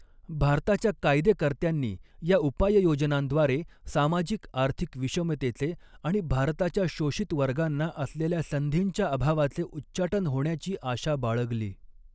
भारताच्या कायदेकर्त्यांनी या उपाययोजनांद्वारे, सामाजिक आर्थिक विषमतेचे आणि भारताच्या शोषित वर्गांना असलेल्या संधींच्या अभावाचे उच्चाटन होण्याची आशा बाळगली.